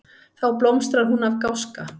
Þá blómstrar hún af gáska.